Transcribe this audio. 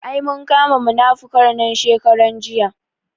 Ai mun kama munafukar nan shekaran jiya